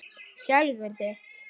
Hert lög um hælisleitendur